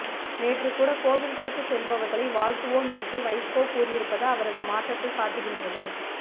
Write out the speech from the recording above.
நேற்று கூட கோவில்களுக்கு செல்பவர்களை வாழ்த்துவோம் என்று வைகோ கூறியிருப்பது அவரது மாற்றத்தை காட்டுகின்றது